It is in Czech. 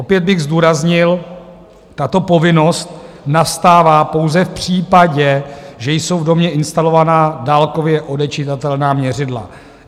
Opět bych zdůraznil: tato povinnost nastává pouze v případě, že jsou v domě instalovaná dálkově odečitatelná měřidla.